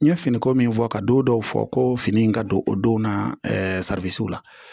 N ye finiko min fɔ ka don dɔw fɔ ko fini in ka don o don na la